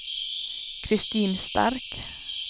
Kristin Stark